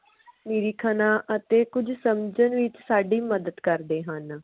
ਨਿਰੀਖਣਾਂ ਅਤੇ ਕੁਝ ਸਮਝਣ ਵਿਚ ਸਾਡੀ ਮਦਦ ਕਰਦੇ ਹਨ